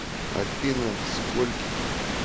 афина скольких